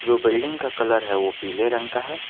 जो बिल्डिंग का कलर है वह पीले रंग का है।